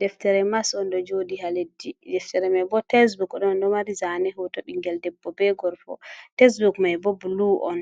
Deftere mas on ɗo joɗi ha leɗɗi, deftere mai bo tasebok on ɗo mari zane hoto ɓingel debbo be gorko tasebuk mai bo blu, on